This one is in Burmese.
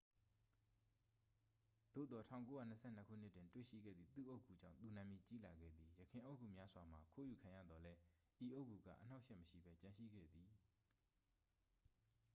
သို့သော် 1922 ခုနှစ်တွင် တွေ့ရှိခဲ့သည့် သူ့အုတ်ဂူကြောင့် သူနာမည်ကြီးလာခဲ့သည် ယခင်အုတ်ဂူများစွာမှာ ခိုးယူခံရသော်လည်း ဤအုတ်ဂူက အနှောင့်အယှက် မရှိဘဲ ကျန်ရှိခဲ့သည်